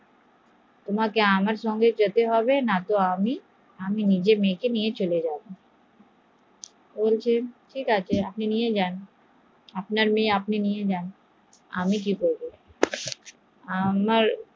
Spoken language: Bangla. বসলে না তোমাকে আমার সঙ্গে যেতে হবে নাহলে আমি আমার মেয়েকে নিয়ে চলে যাবো, বসলে ঠিক আছে আপনি আপনার মেয়েকে নিয়ে চলে যান